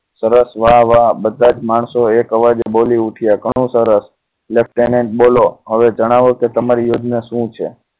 સરસ વાહ વાહ બધા જ માણસો એક અવાજ બોલી ઉઠ્યા ઘણું સરસ left hand બોલો હવે જણાવો કે તમારી યોજના શું છે